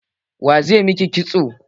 Wa zai yi miki kitso?